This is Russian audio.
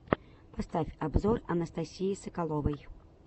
поставь обзор анастасии соколовой